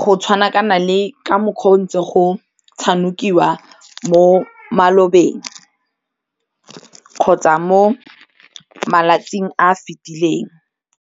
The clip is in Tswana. go tshwana kana le ka mokgwa o ntse o go tshamekiwa mo malobeng kgotsa mo malatsing a a fetileng.